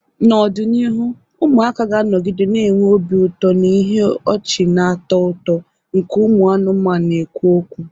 N'ọdịnihu, ụmụaka ga-anọgide na-enwe obi ụtọ na ihe ọchị na-atọ ụtọ nke ụmụ anụmanụ na-ekwu okwu.